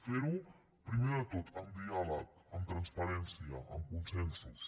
fer ho primer de tot amb diàleg amb transparència amb consensos